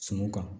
Sumanw kan